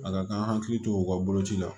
A ka kan an hakili to u ka boloci la